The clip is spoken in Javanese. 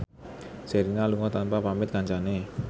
Sherina lunga tanpa pamit kancane